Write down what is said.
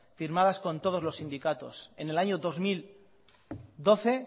firmadas con todos los sindicatos en el año dos mil doce